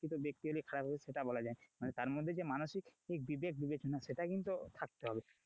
ব্যক্তি হলে যে খারাপ হবে সেটা বলা যায় না, মানে তার মধ্যে যে মানসিক বিবেক বিবেচনা সেটা কিন্তু থাকতে হবে,